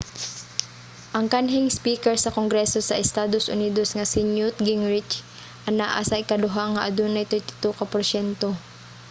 ang kanhing speaker sa kongreso sa estados unidos nga si newt gingrich anaa sa ikaduha nga adunay 32 ka porsyento